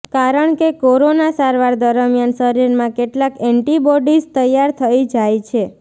કારણ કે કોરોના સારવાર દરમિયાન શરીરમાં કેટલાક એન્ટિબોડીઝ તૈયાર થઈ જાય છે